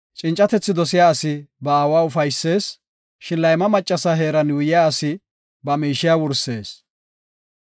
Cincatethi dosiya asi ba aawa ufaysees; shin layma maccasa heeran yuuyiya asi ba miishiya wursees.